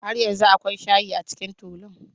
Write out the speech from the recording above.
Har yanzu akwai shayi a cikin tulun.